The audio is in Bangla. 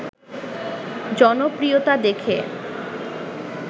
জনপ্রিয়তা দেখে